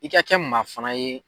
I ka kɛ maa fana ye